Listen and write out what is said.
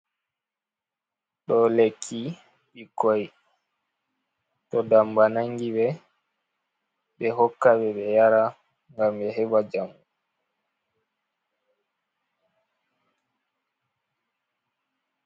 Ɗo lekki ɓikkoi to damba nangi ɓe ɓe hoka ɓe ɓe yara ngam ɓe heba jamu.